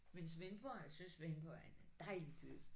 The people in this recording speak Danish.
Men Svendborg jeg synes Svendborg er en dejlig by